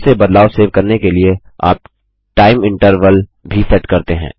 स्वतः से बदलाव सेव करने के लिए आप टाइम इन्टरवल भी सेट करते हैं